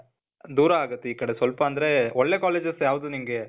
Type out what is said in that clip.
ದೂರ ಆಗತ್ತೆ ಈ ಕಡೆ. ಸ್ವಲ್ಪ ಅಂದ್ರೆ ಒಳ್ಳೇ ಕಾಲೇಜಸ್ ಯಾವ್ದು ನಿನ್ಗೆ,